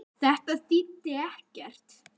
Þetta þýddi ekkert.